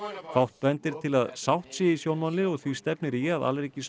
fátt bendir til að sátt sé í sjónmáli og því stefnir í að